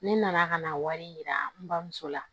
Ne nana ka na wari yira n bamuso la